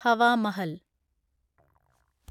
Hawa Mahal